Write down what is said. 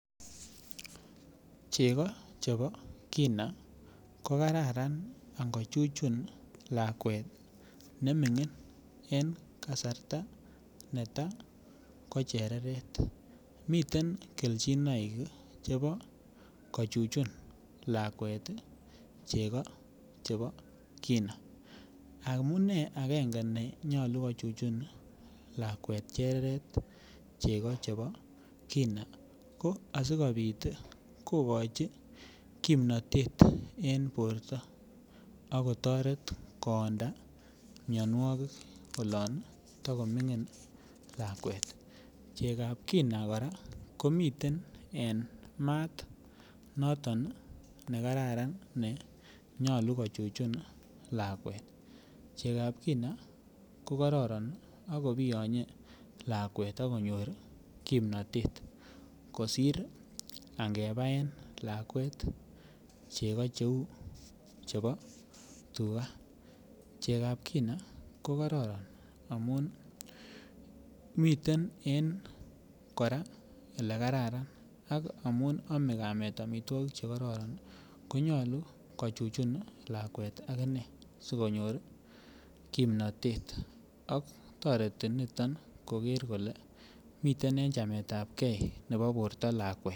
Chego chebo kina ko Kararan ango chuchun lakwet nemingin en kasarta neta ko chereret miten kelchinoik ii chebo kochuchun lakwet chego chebo kina amune agenge ne yoche kochuchun lakwet chereret chego chebo kina ko asikobit kogochi kimnatet en borto ak kotoret koonda mianwogik oloon tagomingin lakwet Chekab kina kora komiten en mat noton ne kararan ne nyolu ko chuchun lakwet Chekab ko kororon ak kobiyonye lakwet ak konyor kimnatet kosir angebaen lakwet chego cheu chebo tuga Chekab ko kororon amun miten en Ole Karan ak amun ame kameet amitwogik Che kororon ko nyolu ko chuchun lakwet aginee si konyor kimnatet ak toreti niton koger kole miten en chameetapgei nebo borto lakwet